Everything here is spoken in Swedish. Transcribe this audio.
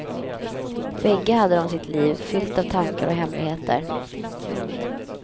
Bägge hade de sitt liv, fyllt av tankar och hemligheter.